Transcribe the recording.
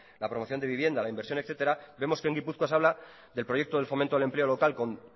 la promoción de vivienda la inversión etcétera vemos que en gipuzkoa se habla del proyecto del fomento del empleo local con